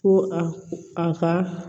Ko a ka